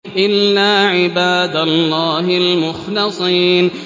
إِلَّا عِبَادَ اللَّهِ الْمُخْلَصِينَ